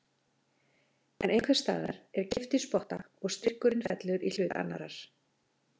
En einhvers staðar er kippt í spotta og styrkurinn fellur í hlut annarrar.